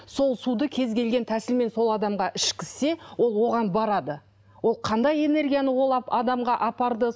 сол суды кез келген тәсілмен сол адамға ішкізсе ол оған барады ол қандай энергияны ол адамға апарды